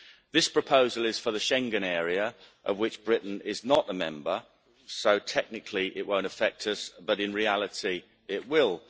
This proposal is for the Schengen area, of which Britain is not a member, so technically it will not affect us but in reality it will.